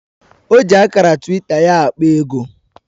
O ji akara twita ya akpa ego